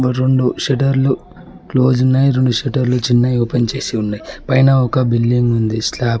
రొండు షటర్లు క్లోజ్ ఉన్నాయ్ రెండు షట్టర్లు చిన్నయి ఓపెన్ చేసి వున్నయ్ పైన ఒక బిల్డింగ్ ఉంది స్లాప్ --